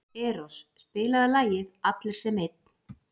Eros, spilaðu lagið „Allir sem einn“.